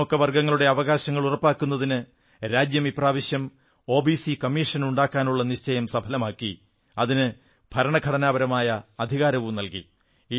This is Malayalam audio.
പിന്നാക്ക വർഗ്ഗങ്ങളുടെ അവകാശങ്ങൾ ഉറപ്പാക്കുന്നതിന് രാജ്യം ഇപ്രാവശ്യം ഒബിസി കമ്മീഷൻ ഉണ്ടാക്കാനുള്ള നിശ്ചയം സഫലമാക്കി അതിന് ഭരണഘടനാപരമായ അധികാരവും നല്കി